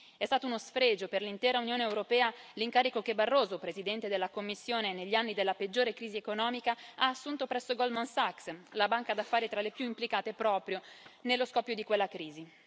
È stato uno sfregio per l'intera Unione europea l'incarico che Barroso, Presidente della Commissione negli anni della peggiore crisi economica, ha assunto presso Goldman Sachs, la banca d'affari tra le più implicate proprio nello scoppio di quella crisi.